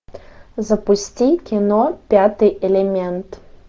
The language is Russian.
запусти кино пятый элемент